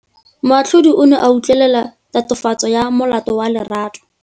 Moatlhodi o ne a utlwelela tatofatsô ya molato wa Lerato.